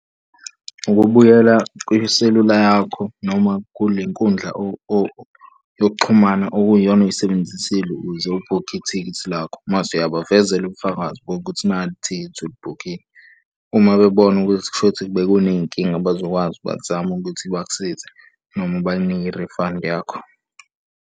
Ukubuyela kwiselula yakho noma kule nkundla yokuxhumana okuyiyona oyisebenzisile ukuze ubhukhe ithikithi lakho. Mase uyabavezela ubufakazi bokuthi nali ithikithi ulibhukhile, uma bebona ukuthi kushuthi bekuney'nkinga bazokwazi bazame ukuthi bakusize noma bakunike i-refund yakho.